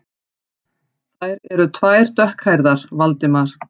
Þær eru tvær dökkhærðar, Valdimar